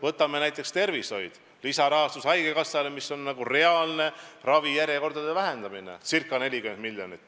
Võtame näiteks tervishoid, lisarahastus haigekassale, mis on nagu reaalne ravijärjekordade vähendamine .